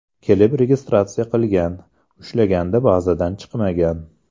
Kelib ‘registratsiya’ qilgan, ushlaganda bazadan chiqmagan.